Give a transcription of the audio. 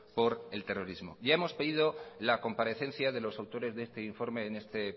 por el terrorismo ya hemos pedido la comparecencia de los autores de este informe en este